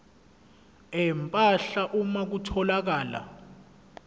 empahla uma kutholakala